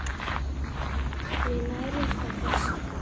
Við nærumst á þessu.